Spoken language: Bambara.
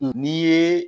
N'i ye